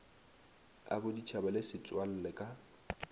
a boditšhaba le setswalle ka